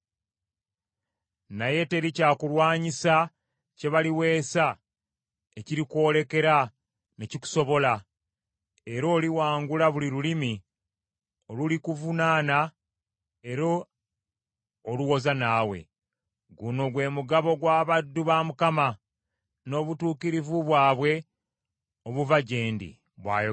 Naye teri kyakulwanyisa kye baliweesa ekirikwolekera ne kikusobola, era oliwangula buli lulimi olulikuvunaana era oluwoza naawe. Guno gwe mugabo gw’abaddu ba Mukama , n’obutuukirivu bwabwe obuva gye ndi,” bw’ayogera Mukama .